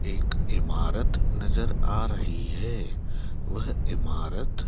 एक इमारत नजर आ रही है वह इमारत--